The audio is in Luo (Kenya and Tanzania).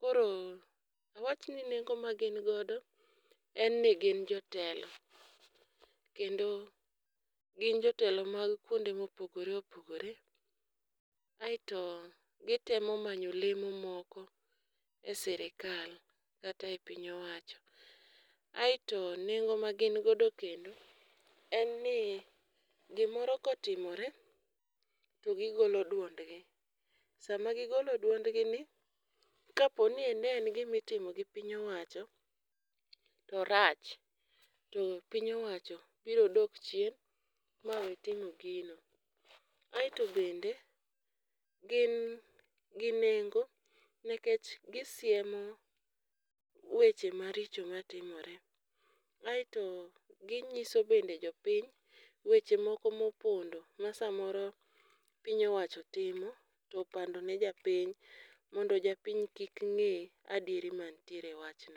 Koro awach ni nengo ma gin godo en ni gin jotelo, kendo gin jotelo mag kuonde mopogore opogore, aeto gitemo manyo lemo moko e sirikal kata e piny owacho. Aeto nengo ma gin godo kendo en ni, gimoro kotimore to gigolo duondgi, sama gigolo duondgi ni kaponi ne en gima itimo gi piny owacho to orach, to piny owacho biro dok chien, ma we timo gino. Aeto bende gin gi nengo nikech gisiemo weche maricho matimore, aeto ginyiso bende jopiny weche moko mopondo ma samoro piny owacho timo to opando ne japiny mondo japiny kik ng'e adieri mantiere e wachno.